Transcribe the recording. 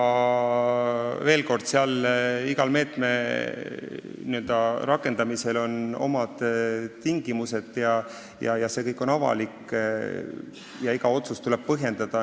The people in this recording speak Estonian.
Ja veel kord: iga meetme rakendamisel on omad tingimused, kõik on avalik ja iga otsust tuleb põhjendada.